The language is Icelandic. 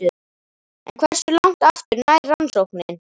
En hversu langt aftur nær rannsóknin?